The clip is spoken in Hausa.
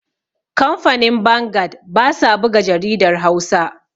kamfanin bangad ba sa buga jaridar Hausa